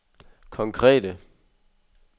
konkrete